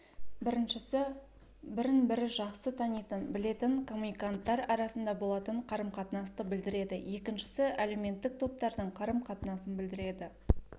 біріншісі бірін-бірі жақсы танитын білетін коммуниканттар арасында болатын қарым-қатынасты білдіреді екіншісі әлеуметтік топтардың қарым-қатынасын білдіреді